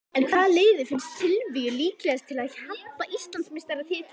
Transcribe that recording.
En hvaða lið finnst Silvíu líklegast til að hampa Íslandsmeistaratitlinum?